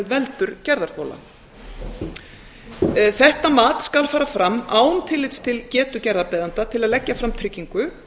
veldur gerðarþola þetta mat skal fara fram án tillits til getu gerðarbeiðanda til að leggja fram tryggingu